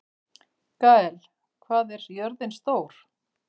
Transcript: Gael, hvað er jörðin stór?